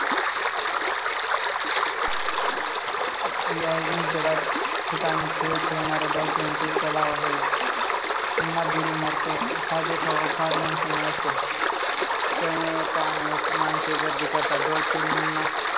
या आधुनिक जगात खेळ खेळणाऱ्या डॉल्फिन चे तलाव आहेत. पुन्हा बुडी मारतो हा देखावा फार मनसुमे असतात. त्यामुळे मानसे पाहण्यास गर्दी करते. डॉल्फिनना